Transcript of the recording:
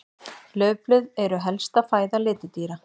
Laufblöð eru helsta fæða letidýra.